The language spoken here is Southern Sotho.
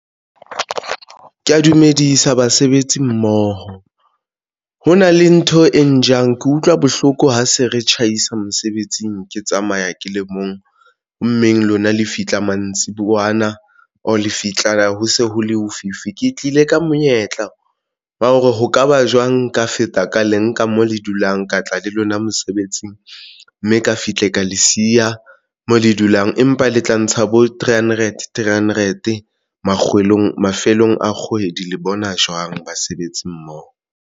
Ke ya dumedisa basebetsi mmoho ho na le ntho e ne jang ke utlwa bohloko ha se re tjhaisa mosebetsing ke tsamaya ke le mong hommeng lona le fitlha, mantsibuyana or le fihla, ho se ho le ho fifi ke tlile ka monyetla wa hore ho kaba jwang ka feta ka le nka mo le dulang ka tla le lona mosebetsing mme ka fihle ka le siya mo le dulang, empa le tla ntsha bo three hundred three hundred mafelong a kgwedi le bona jwang basebetsi mmoho?